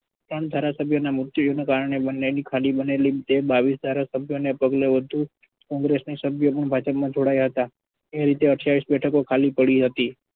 એક પણ ધારાસભ્યોની કારણે બંનેના ખાલી બનેલી બાવીસ ધારાસભ્યો ને પગલે વધુ congress ના સભ્યો પણ ભાજપમાં જોડાયા હતા એ રીતે અઠ્યાવીસ બેઠકો ખાલી પડી હતી.